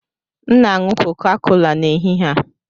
M na-aṅụ Coca-Cola n'ehihie a.